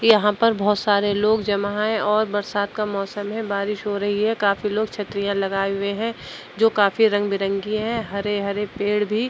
यहां पर बहुत सारे लोग जमा हैं और बरसात का मौसम है। बारिश हो रही है। काफी लोग छतरियां लगाये हुये हैं जो काफी रंग बिरंगी हैं। हरे-हरे पेड़ भी --